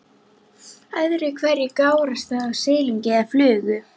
Öðru hverju gárast það af silungi eða flugu.